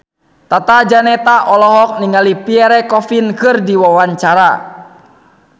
Tata Janeta olohok ningali Pierre Coffin keur diwawancara